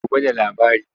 Gobe da labari.